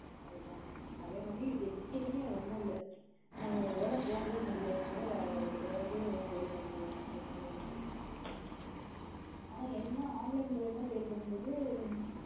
அது தான் நா அதே மாதிரி ticket உம் மே ஒண்ணும்இல்லா ஒரு வேல நம்ம போக முடியலேன குடா வேற யார்கிட்டையும் sale பண்ணிரலாம் online முளியமாவே அனா என்ன online sale பண்ணும்போது